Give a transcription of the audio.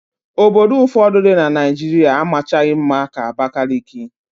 Obodo ụfọdụ dị na Naịjirịa amachaghị mma ka Abakaliki.